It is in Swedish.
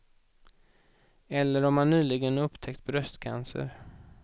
Eller om man nyligen upptäckt bröstcancer.